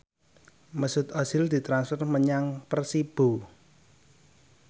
Mesut Ozil ditransfer menyang Persibo